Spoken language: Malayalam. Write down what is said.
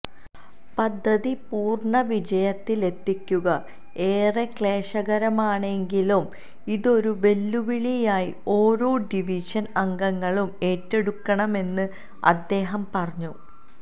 പദ്ധതി പൂര്ണ വിജയത്തിലെത്തിക്കുക ഏറെ ക്ലേശകരമാണെങ്കിലും ഇതൊരു വെല്ലുവിളിയായി ഓരോ ഡിവിഷന് അംഗങ്ങളും ഏറ്റെടുക്കണമെന്ന് അദ്ദേഹം പറഞ്ഞു